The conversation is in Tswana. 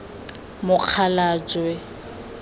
mokgalajwe